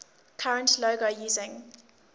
current logo using